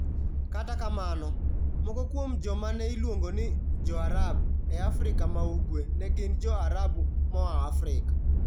Kata kamano, moko kuom joma ne iluongo ni "Jo-Arabu" e Afrika ma Ugwe ne gin Jo-Arabu moa Afrika.